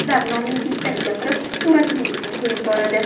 Ular nomingizdan gapirib, suratlaringizni qo‘yib boradi.